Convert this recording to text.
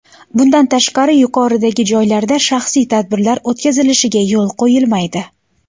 Bundan tashqari, yuqoridagi joylarda shaxsiy tadbirlar o‘tkazilishiga yo‘l qo‘yilmaydi.